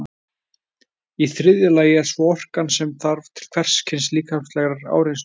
Í þriðja lagi er svo orkan sem þarf til hvers kyns líkamlegrar áreynslu.